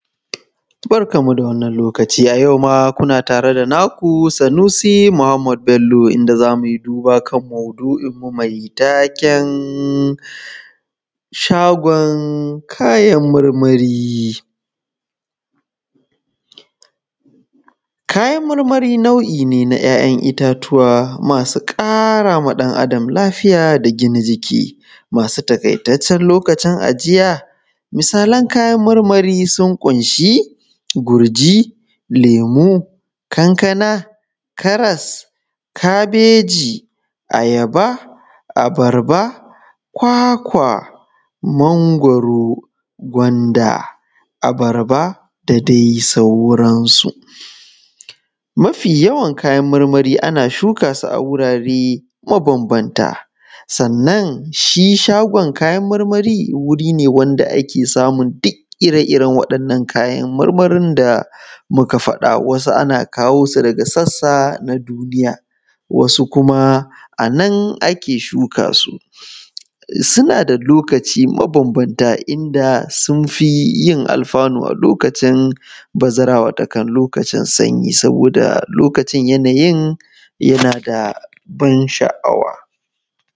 barkanmu da wannan lokaci a yau ma kuna tare da naku sanusi muhammad bello inda za mu yi duba kan maudu’inmu mai taken shagon kayan marmari kayan marmari nau’i ne na ‘ya’yan itatuwa masu ƙara ma ɗan adam lafiya da gina jiki masu taƙaitaccen lokacin ajiya misalan kayan marmari sun ƙunshi gurji lemu kankana karas kabeji ayaba abarba kwakwa mangwaro gwanda abarba da dai sauransu mafi yawan kayan marmari ana shuka su a wurare mabambanta sannan shi shagon kayan marmari wuri ne wanda da ake samun duk ire iren waɗannan kayan marmarin da muka faɗa wasu ana kawo su daga sassa na duniya wasu kuma a nan ake shuka su suna da lokaci mabambanta inda sun fi yin alfanu a lokacin bazara watakan lokacin sanyi saboda lokacin yanayin yana da ban sha’awa